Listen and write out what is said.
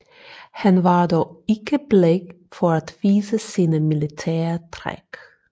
Han var dog ikke bleg for at vise sine militære træk